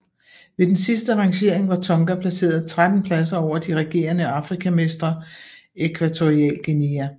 Ved den sidste rangering var Tonga placeret 13 pladser over de regerende Afrikamestre Ækvatorialguinea